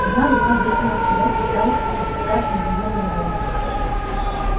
одна рука вытянулась вперёд и стала опускаться над её головой